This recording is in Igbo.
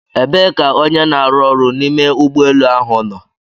Ebee ka onye n'aru ọrụ n'ime ụgbọ elu ahụ nọ?